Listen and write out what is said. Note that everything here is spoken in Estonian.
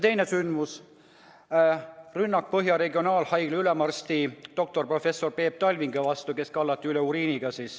Teine sündmus, rünnak Põhja-Eesti Regionaalhaigla ülemarsti doktor Peep Talvingu vastu, kes kallati üle uriiniga.